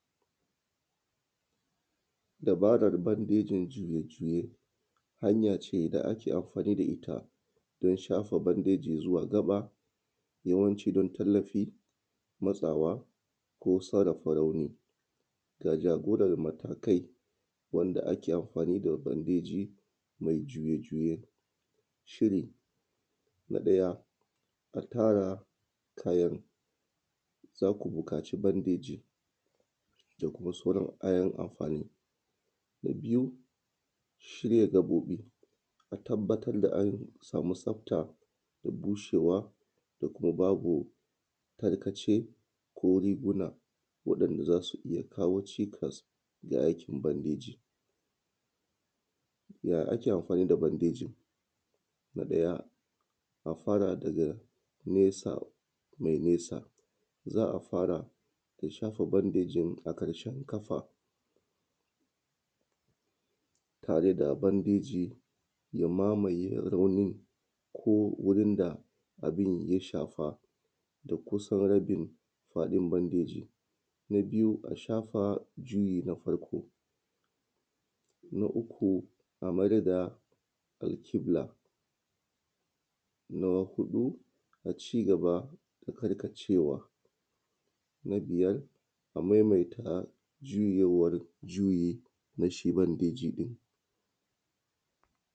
Dabarar bandejin juye-juye hanya ce da ake amfani da ita don shafa bandeji takafa don tallafi matsawa don sarafa rauni ga jagoran matakai wanda ake amfani da bandeji don juye-juye shi ne na ɗaya a naɗa kayan za ka buƙaci bandeji da kuma soran kayan amfani na biyu shirya gaɓobi a tabattar da an samu tsafta da bushewa da kuma babu tarkace ko kuma babu tarkace ko riguna waɗanda za su iya kawo cikas a yayin yan aikin bandejin yaya ake amfani da bandejin na ɗaya a fara da nesa me nisa za a fara da shafa bandeji na ƙafa tare da bandejin ya mamaye raunin ko wurin da gun ya shafa da kusan rabin faɗin bandejin na biyu a fara juyewa na farko na ƙuƙu a maidalƙibla na a huɗu na cigaba da karkacewa na biyar a maimaita juyewa juye da shi bandejin ɗin.